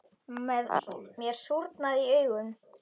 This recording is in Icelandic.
Mér súrnaði í augum.